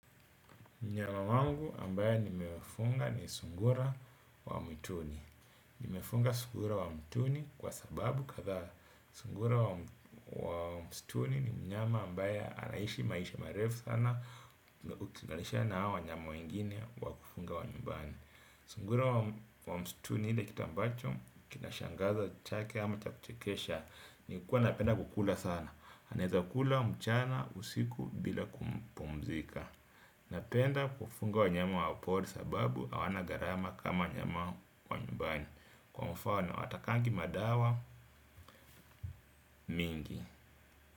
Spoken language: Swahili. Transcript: Mnyama wangu ambaye nimefunga ni sungura wa mwituni. Nimefunga sungura wa mwituni kwa sababu kadha. Sungura wa mwituni ni mnyama ambaya anaishi maishi marefu sana. Ukingalisha na hawa wanyama wengine wa kufunga wa nyumbani. Sungura wa msituni ile kitu mbacho kinashangaza chake ama cha kuchekesha. Nikuwa napenda kukula sana. Aneza kukula mchana usiku bila kupumzika. Napenda kufunga wanyama wapori sababu hawana gharama kama wanyama nyumbani. Kwa mfano hatakangi madawa mingi.